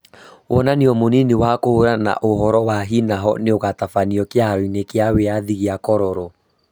Wonanio mũnini wa kũhũrana na ũhoro wa hi na ho nĩũgũtabanio kĩharo-inĩ kia wĩathi gia Kololo